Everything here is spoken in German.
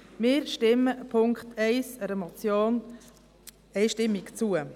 Wir stimmen im Punkt 1 einer Motion einstimmig zu.